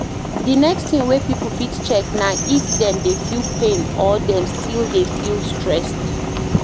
The next thing wey pipo fit check na if dem dey feel pain or dem still dey feel stressed